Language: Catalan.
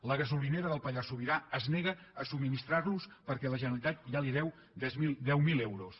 la gasolinera del pallars sobirà es nega a subministrar los en perquè la generalitat ja li deu deu mil euros